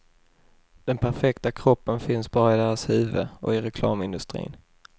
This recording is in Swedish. Den perfekta kroppen finns bara i deras huvuden och i reklamindustrin.